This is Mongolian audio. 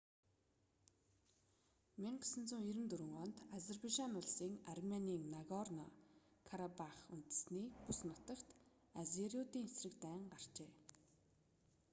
1994 онд азербайжан улсын арменийн нагорно-карабах үндэстний бүс нутагт азериудын эсрэг дайн гарчээ